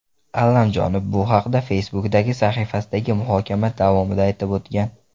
Allamjonov bu haqda Facebook’dagi sahifasidagi muhokama davomida aytib o‘tgan.